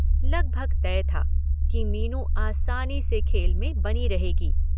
लगभग तय था कि मीनू आसानी से खेल में बनी रहेगी।